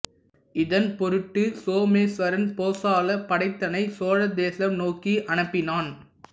இதன் பொருட்டு சொமேச்வரன் போசள படைத்தனை சோழ தேசம் நோக்கி அனுப்பினான்